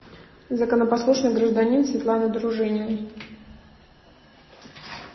законопослушный гражданин светланы дружининой